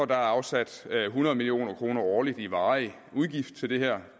der er afsat hundrede million kroner årligt i varig udgift til det her